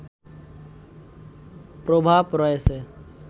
প্রভাব রয়েছে